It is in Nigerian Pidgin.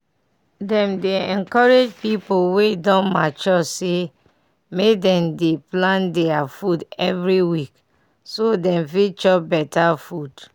dem dey encourage pipu wey don mature say make dem dey plan their food every week so dem fit chop better food.